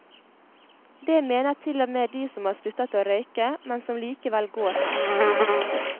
Det mener til og med de som har sluttet å røyke, men som likevel går her.